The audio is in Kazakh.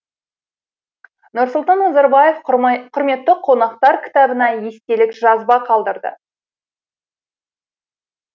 нұрсұлтан назарбаев құрметті қонақтар кітабына естелік жазба қалдырды